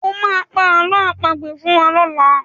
O máa pa àlọ́ àpagbè fún wa lọ́la.